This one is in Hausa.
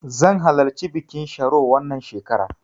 Zan halarci bikin sharo wannan shekarar.